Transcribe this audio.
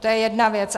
To je jedna věc.